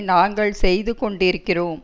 நாங்கள் செய்து கொண்டிருக்கிறோம்